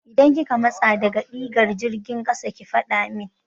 Idan kika matsa daga digar jirgin ƙasa ki faɗa min!